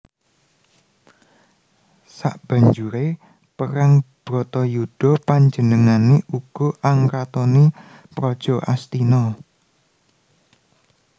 Sabanjure perang Bratayuda panjenengane uga angratoni praja Astina